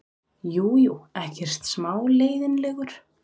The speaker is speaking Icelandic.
Jú, jú, ekkert smá leiðinlegur.